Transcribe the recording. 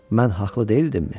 Mən haqlı deyildimmi?